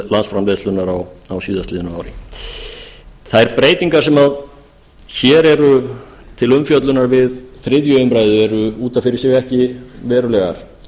landsframleiðslunnar á síðastliðnu ári þær breytingar sem hér eru til umfjöllunar við þriðju umræðu eru út af fyrir sig